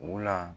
Wula